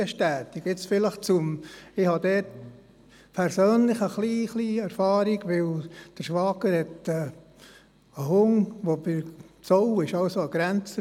Mein Schwager hat einen Hund, der beim Zoll arbeitet, deshalb habe ich ein bisschen Erfahrung.